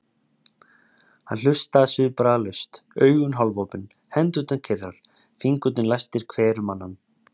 Hann hlustaði svipbrigðalaust, augun hálfopin, hendurnar kyrrar, fingurnir læstir hver um annan.